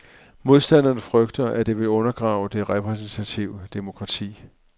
Modstanderne frygter, at det vil undergrave det repræsentative demokrati.